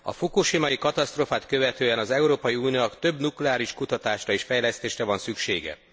A fukosimai katasztrófát követően az Európai Uniónak több nukleáris kutatásra és fejlesztésre van szüksége.